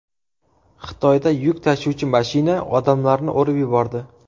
Xitoyda yuk tashuvchi mashina odamlarni urib yubordi .